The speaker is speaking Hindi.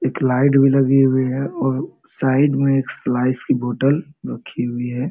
एक लाइट भी लगी हुई है और साइड मे एक स्लाइस की बोतल रखी हुई है।